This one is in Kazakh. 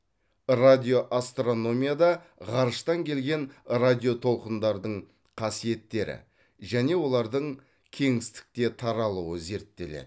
радиоастрономияда ғарыштан келген радиотолқындардың қасиеттері және олардың кеңістікте таралуы зерттеледі